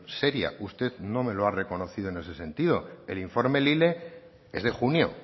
seria usted no me lo ha reconocido en ese sentido el informe lile es de junio